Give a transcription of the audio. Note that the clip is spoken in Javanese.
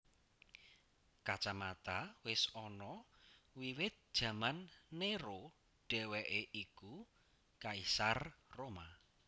Kacamata wis ana wiwit jaman Néro dhéwéké iku kaisar Roma